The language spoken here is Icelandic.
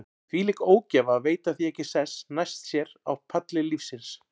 Þvílík ógæfa að veita því ekki sess næst sér á palli lífsins.